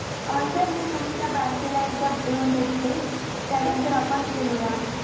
अं sir मी तुमच्या bank ला येऊन भेटते त्यानंतर आपण बोलूया